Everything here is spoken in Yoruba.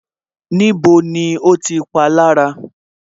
Níbo ni o ti palára